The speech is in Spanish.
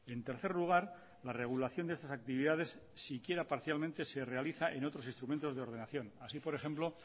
en tercer lugar la regulación de estas actividades si quiera parcialmente se realiza en otros instrumentos de ordenación así por ejemplo